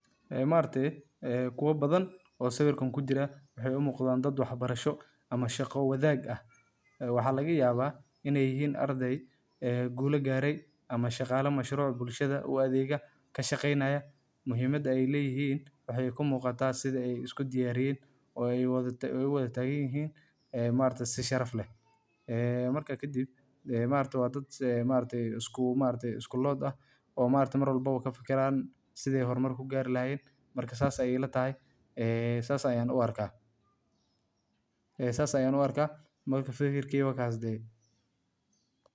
Macallimiintu waa laf-dhabarta nidaamka waxbarashada, waxayna door muhiim ah ka ciyaaraan horumarinta bulshada iyo mustaqbalka carruurta. Waxay si hagar la’aan ah u gudbiyaan aqoonta, xirfadaha, iyo anshaxa, iyagoo ardayda ku dhiirrigeliya inay bartaan una diyaar garoobaan caqabadaha nolosha. Macallimiintu waxay abuuraan jawi waxbarasho oo caafimaad qaba, halkaas oo ardaydu dareemaan kalsooni, xurmad, iyo dhiirrigelin.